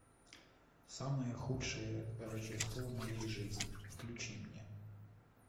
самое худшее рождество в соей жизни включи мне